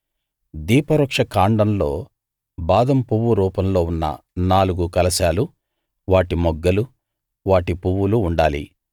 దీపవృక్ష కాండంలో బాదం పువ్వు రూపంలో ఉన్న నాలుగు కలశాలు వాటి మొగ్గలు వాటి పువ్వులు ఉండాలి